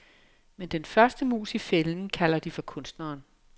Men den første mus i fælden, kalder de for kunstneren.